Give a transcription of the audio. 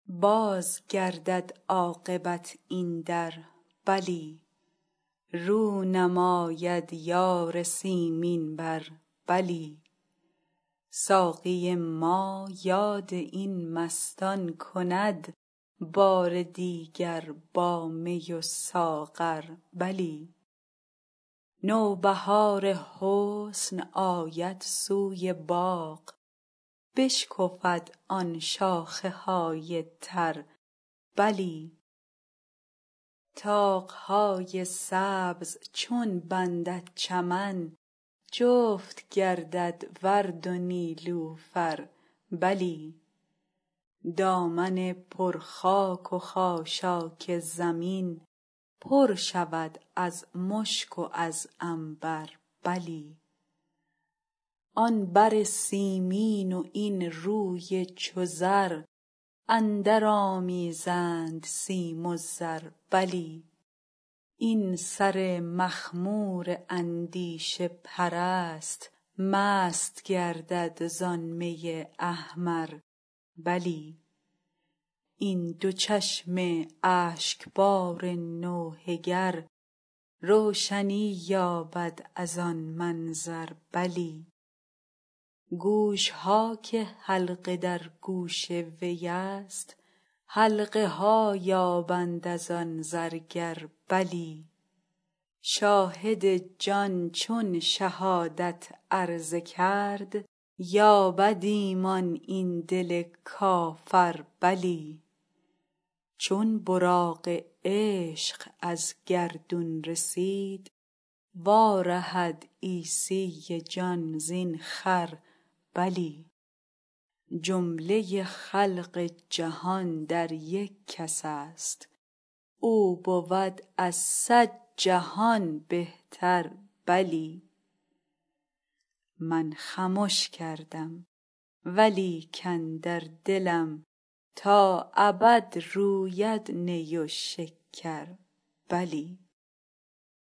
باز گردد عاقبت این در بلی رو نماید یار سیمین بر بلی ساقی ما یاد این مستان کند بار دیگر با می و ساغر بلی نوبهار حسن آید سوی باغ بشکفد آن شاخه های تر بلی طاق های سبز چون بندد چمن جفت گردد ورد و نیلوفر بلی دامن پر خاک و خاشاک زمین پر شود از مشک و از عنبر بلی آن بر سیمین و این روی چو زر اندرآمیزند سیم و زر بلی این سر مخمور اندیشه پرست مست گردد زان می احمر بلی این دو چشم اشکبار نوحه گر روشنی یابد از آن منظر بلی گوش ها که حلقه در گوش وی است حلقه ها یابند از آن زرگر بلی شاهد جان چون شهادت عرضه کرد یابد ایمان این دل کافر بلی چون براق عشق از گردون رسید وارهد عیسی جان زین خر بلی جمله خلق جهان در یک کس است او بود از صد جهان بهتر بلی من خمش کردم و لیکن در دلم تا ابد روید نی و شکر بلی